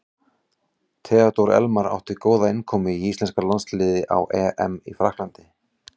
Theodór Elmar átti góða innkomu í íslenska landsliðið á EM í Frakklandi.